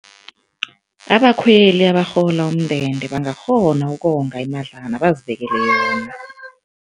Abakhweli abarhola umndende bangakghona ukonga imadlana bazibekele yona.